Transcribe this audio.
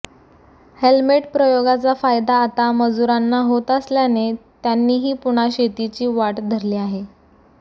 helmet प्रयोगाचा फायदा आता मजुरांना होत असल्याने त्यांनीही पुन्हा शेतीची वाट धरली आहे